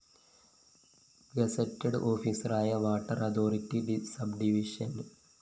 gazetted ഓഫീസറായ water authority subdivision A